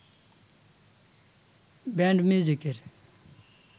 band মিউজিকের